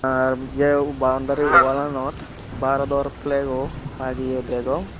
ar jeu boundary walanot barador flago lageye degong.